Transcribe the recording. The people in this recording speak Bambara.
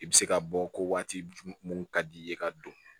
I bɛ se ka bɔ ko waati mun ka di i ye ka don